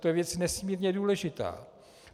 To je věc nesmírně důležitá.